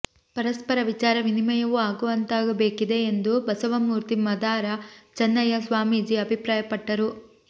ಪರಸ್ಪರ ವಿಚಾರ ವಿನಿಮಯವೂ ಆಗುವಂತಾಗಬೇಕಿದೆ ಎಂದು ಬಸವಮೂರ್ತಿ ಮಾದಾರ ಚನ್ನಯ್ಯ ಸ್ವಾಮೀಜಿ ಅಭಿಪ್ರಾಯಪಟ್ಟರು